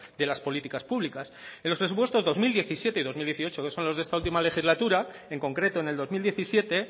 de las políticas públicas en los presupuestos dos mil diecisiete y dos mil dieciocho que son los de esta última legislatura en concreto en el dos mil diecisiete